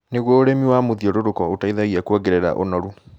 Nĩguo, ũrĩmi wa mũthiũrũrũko ũteithagia kuongerera ũnoru